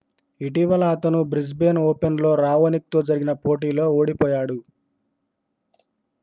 ఇటీవల అతను Brisbane Open లో రావోనిక్ తో జరిగిన పోటీలో ఓడిపోయాడు